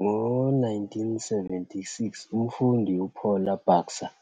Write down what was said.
Ngo-1976, umfundi uPaula Baxter